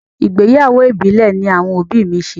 Ìgbéyàwó ìbílẹ̀ ní àwọn òbí mi ṣe.